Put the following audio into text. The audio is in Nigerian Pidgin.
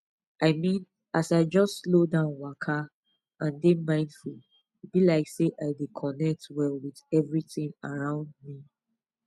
i mean as i just slow down waka and dey mindful e be like say i dey connect well with everything around me